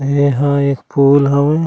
एहा एक पुल हवे।